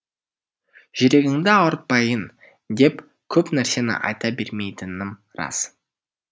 жүрегіңді ауыртпайын деп көп нәрсені айта бермейтінім рас